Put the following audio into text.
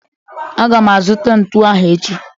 Aga m azụta ntụ ahụ echi